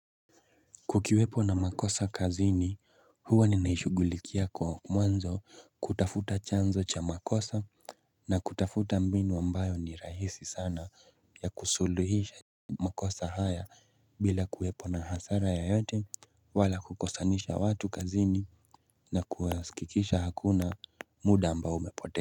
Kukiwepo na makosa kazini huwa ninaishugulikia kwa mwanzo kutafuta chanzo cha makosa na kutafuta mbinu ambayo ni rahisi sana ya kusuluhisha makosa haya bila kuwepo na hasara yoyote wala kukosanisha watu kazini na kuwaskikikisha hakuna muda ambao umepote.